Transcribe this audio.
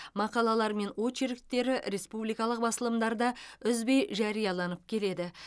мақалалары мен очерктері республикалық басылымдарда үзбен жарияланып келеді